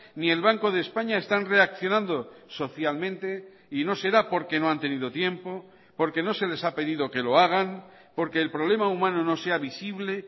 ni el banco de españa están reaccionando socialmente y no será porque no han tenido tiempo porque no se les ha pedido que lo hagan porque el problema humano no sea visible